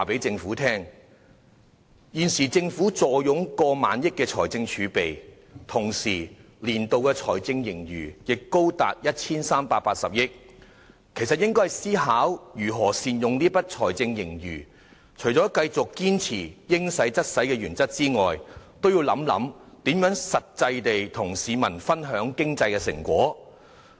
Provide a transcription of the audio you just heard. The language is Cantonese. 政府現時坐擁過萬億元財政儲備，年度財政盈餘也高達 1,380 億元，理應思考如何善用財政盈餘，除了繼續堅守"應使則使"的原則外，也應想想如何與市民分享經濟成果。